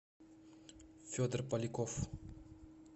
федор поляков